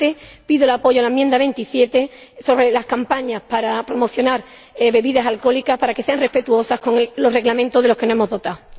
No obstante, pido el apoyo a la enmienda 27 sobre las campañas para promocionar bebidas alcohólicas, para que sean respetuosas con los reglamentos de los que nos hemos dotado.